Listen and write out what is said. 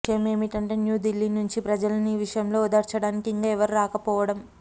విషయమేమంటే న్యూదిల్లీ నించి ప్రజలని ఈ విషయంలో ఓదార్చడానికి ఇంకా ఎవరూ రాకపోవడం